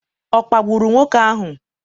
ọ kpagburu nwoke ahụ?